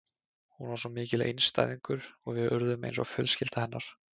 Hún var svo mikill einstæðingur og við urðum eins og fjölskylda hennar.